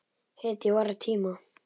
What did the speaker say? Hetju vorra tíma.